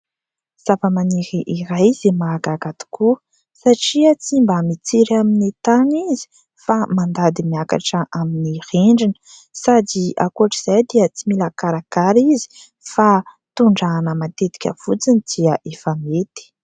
Zavamaniry iray izy mahagaga tokoa satria tsy mba mitsiry amin'ny tany izy fa mandady miakatra amin'ny rindrina sady ankoatra izay dia tsy mila karakara fa tondrahana matetika fotsiny dia efa mety.